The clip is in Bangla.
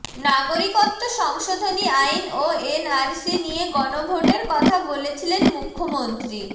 নাগরিকত্ব সংশোধনী আইন ও এনআরসি নিয়ে গণভোটের কথা বলেছিলেন মুখ্যমন্ত্রী